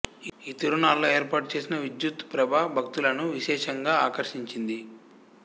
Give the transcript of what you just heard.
ఈ తిరునాళ్ళలో ఏర్పాటుచేసిన విద్యుత్తు ప్రభ భక్తులను విశేషంగా ఆకర్షించింది